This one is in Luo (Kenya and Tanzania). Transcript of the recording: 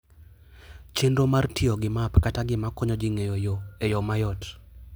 Chenro mar tiyo gi map kata gima konyo ji ng'eyo yo e yo mayot.